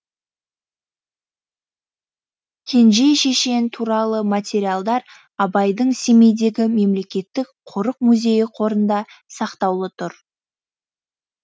кенже шешен туралы материалдар абайдың семейдегі мемлекеттік қорық музейі қорында сақтаулы тұр